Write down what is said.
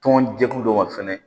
Tɔn jɛkulu dɔ ma fɛnɛ